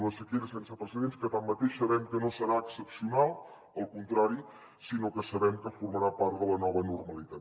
una sequera sense precedents que tanmateix sabem que no serà excepcional al contrari sinó que sabem que formarà part de la nova normalitat